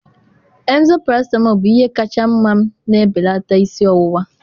emzor paracetamol bụ ihe kacha mma m na-ebelata isi ọwụwa.